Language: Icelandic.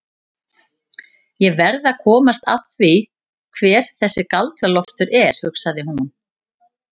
Ég verð að komast að því hver þessi Galdra-Loftur er, hugsaði hún.